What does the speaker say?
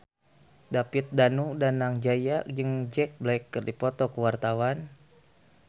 David Danu Danangjaya jeung Jack Black keur dipoto ku wartawan